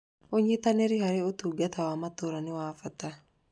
Ũnyitanĩri harĩ ũtungata wa matũũra nĩ wa bata.